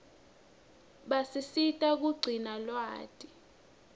basisita kugcina lwati